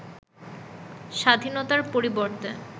স্বাধীনতার পরিবর্তে